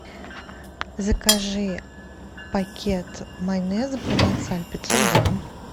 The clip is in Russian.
закажи пакет майонеза провансаль пятьсот грамм